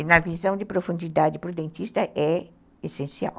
E na visão de profundidade para o dentista é essencial.